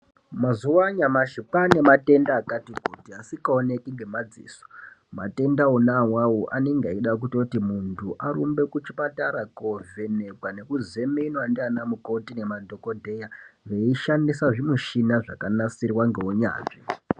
Mazuva anyamashi kwane matenda akati kuti asika oneki nge madziso matenda wona awawo anenge eida kutoti muntu arumbe ku chipatara ko vhenekwa neku zemenwa ndiana mukoti ne madhokodheya vei shandisa zvi mushina zvaka nasirwa nge unyanzvi.